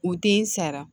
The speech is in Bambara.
U tɛ n sara